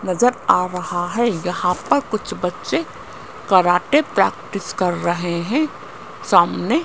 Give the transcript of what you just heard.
नज़र आ रहा है यहां पर कुछ बच्चे कराटे प्रैक्टिस कर रहे हैं सामने --